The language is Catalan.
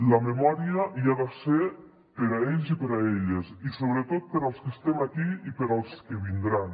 la memòria hi ha de ser per a ells i per a elles i sobretot per als que estem aquí i per als que vindran